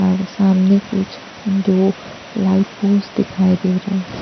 और सामने कुछ दो लाइफ बोट्स दिखाई दे रहा है।